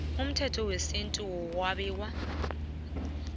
komthetho wesintu wokwabiwa